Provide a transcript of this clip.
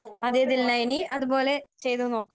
അതേ ദിൽന. ഇനി അതുപോലെ ചെയ്തു നോക്കാം.